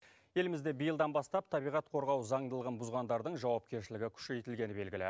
елімізде биылдан бастап табиғат қорғау заңдылығын бұзғандардың жауапкершілігі күшейтілгені белгілі